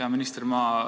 Hea minister!